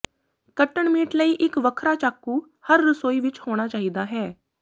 ਕੱਟਣ ਮੀਟ ਲਈ ਇੱਕ ਵੱਖਰਾ ਚਾਕੂ ਹਰ ਰਸੋਈ ਵਿੱਚ ਹੋਣਾ ਚਾਹੀਦਾ ਹੈ